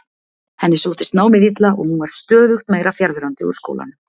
Henni sóttist námið illa og hún var stöðugt meira fjarverandi úr skólanum.